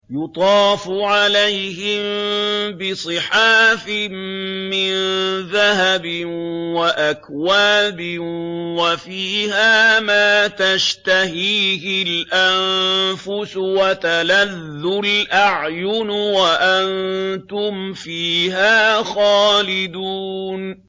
يُطَافُ عَلَيْهِم بِصِحَافٍ مِّن ذَهَبٍ وَأَكْوَابٍ ۖ وَفِيهَا مَا تَشْتَهِيهِ الْأَنفُسُ وَتَلَذُّ الْأَعْيُنُ ۖ وَأَنتُمْ فِيهَا خَالِدُونَ